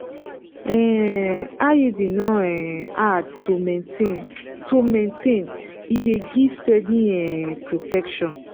um iud no um hard to maintain to maintain e dey give steady um protection.